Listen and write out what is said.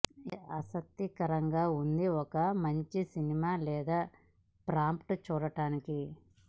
ఏ ఆసక్తికరంగా ఉంది ఒక మంచి చిత్రం లేదా ప్రాంప్ట్ చూడటానికి